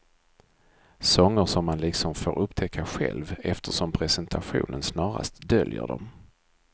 Sånger som man liksom får upptäcka själv, eftersom presentationen snarast döljer dem.